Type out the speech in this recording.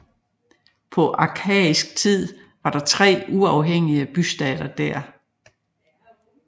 På arkaisk tid var der tre uafhængige bystater der